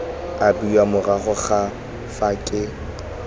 abiwa morago ga fa ke